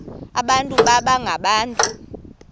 abantu baba ngabantu